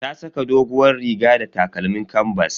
Ta saka doguwar riga da takalmin kanbas.